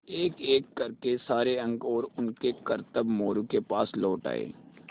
एकएक कर के सारे अंक और उनके करतब मोरू के पास लौट आये